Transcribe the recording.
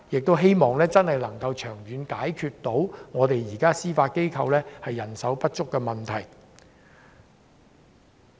我希望長遠能解決司法機構人手不足的問題。